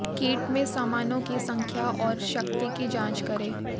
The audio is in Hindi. किट में सामानों की संख्या और शक्ति की जांच करें